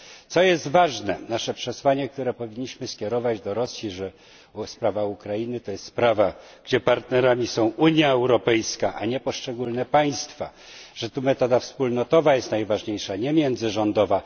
Co jest ważne nasze przesłanie, które powinniśmy skierować do Rosji, że sprawa Ukrainy to jest sprawa, gdzie partnerem jest Unia Europejska, a nie poszczególne państwa, że tu metoda wspólnotowa jest najważniejsza, a nie międzyrządowa.